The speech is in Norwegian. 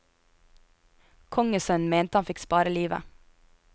Kongssønnen mente han fikk spare livet.